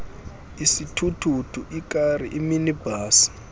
isithuthuthu ikari iminibhasi